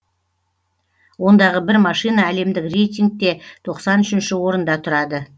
ондағы бір машина әлемдік рейтингте тоқсан үшінші орында тұрады